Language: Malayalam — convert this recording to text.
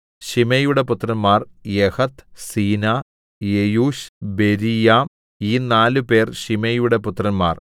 ശിമെയിയുടെ പുത്രന്മാർ യഹത്ത് സീനാ യെയൂശ് ബെരീയാം ഈ നാലുപേർ ശിമെയിയുടെ പുത്രന്മാർ